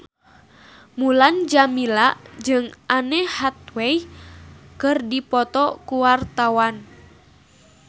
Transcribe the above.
Mulan Jameela jeung Anne Hathaway keur dipoto ku wartawan